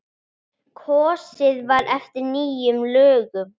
Kosið var eftir nýjum lögum.